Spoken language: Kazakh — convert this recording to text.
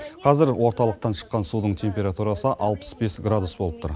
қазір орталықтан шыққан судың температурасы алпыс бес градус болып тұр